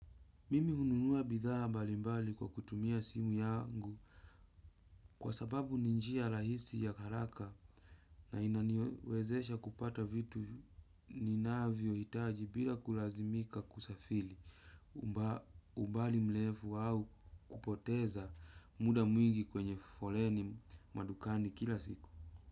Mimi hununua bidhaa balimbali kwa kutumia simu yangu kwa sababu ni njia rahisi ya haraka na inaniwezesha kupata vitu ninavyohitaji bila kulazimika kusafiri umbali mrefu au kupoteza muda mwingi kwenye foleni madukani kila siku.